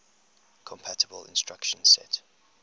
compatible instruction set